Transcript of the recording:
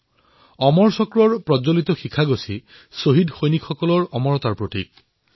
অমৰ চক্ৰই শ্বহীদ সৈনিকসকলৰ অমৰত্বক প্ৰদৰ্শিত কৰিছে